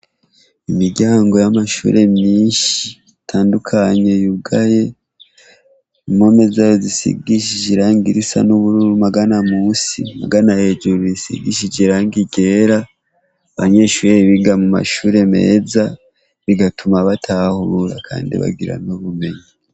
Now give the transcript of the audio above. Imiryango y'amashure menshi atandukanye yugaye impome zayo zisigishije irangi risa n'ubururu ahagana munsi, ahagana hejuru risigishije irangi ryera, abanyeshure biga mu mashure meza bigatuma batahura kandi bagira n'ubumenyi.